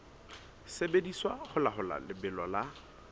sebediswa ho laola lebelo la